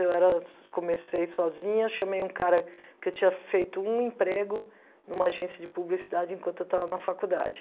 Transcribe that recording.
Eu era comecei sozinha, chamei um cara, porque eu tinha feito um emprego numa agência de publicidade enquanto eu estava na faculdade.